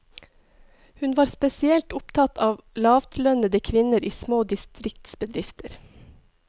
Han var spesielt opptatt av lavtlønnede kvinner i små distriktsbedrifter.